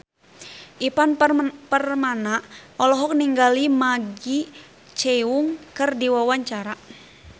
Ivan Permana olohok ningali Maggie Cheung keur diwawancara